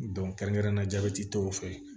kɛrɛnkɛrɛnnenya jabɛti tɔw fɛ